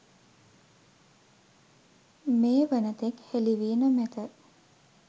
මේ වනතෙක් හෙළිවී නොමැත